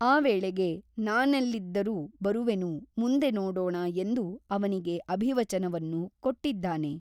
ಆ ವೇಳೆಗೆ ನಾನೆಲ್ಲಿದ್ದರೂ ಬರುವೆನು ಮುಂದೆ ನೋಡೋಣ ಎಂದು ಅವನಿಗೆ ಅಭಿವಚನವನ್ನು ಕೊಟ್ಟಿದ್ದಾನೆ.